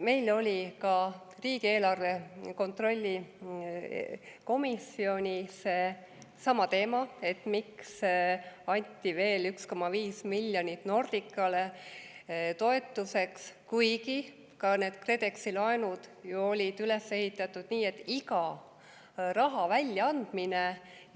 Meil oli ka riigieelarve kontrolli erikomisjonis sama teema, et miks anti veel 1,5 miljonit eurot Nordicale toetuseks, kuigi need KredExi laenud olid üles ehitatud nii, et iga raha väljaandmine